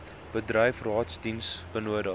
bedryf raadsdiens benodig